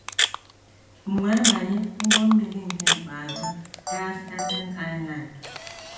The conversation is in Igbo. M wee banye ụgbọ mmiri nke ikpeazụ gaa Staten Island.